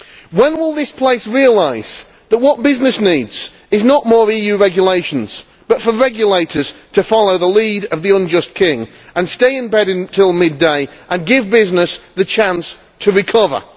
When will this place realise that what business needs is not more EU regulations, but for regulators to follow the lead of the unjust king and stay in bed until midday and give business the chance to recover?